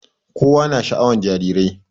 kowa na sha'awan jarirai